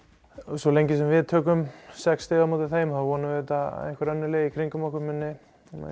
svo lengi sem við tökum sex stig á móti þeim vonum við að einhver önnur lið í kringum okkur muni